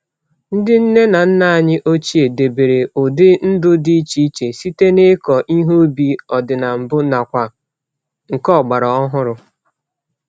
Ndị nne na nna anyị ochie debere ụdị ndụ dị iche iche site n'ịkọ ihe ubi ọdị-na-mbụ nakwa nke ọgbara ọhụrụ.